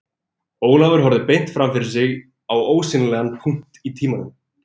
Ólafur horfði beint fram fyrir sig á ósýnilegan punkt í tímanum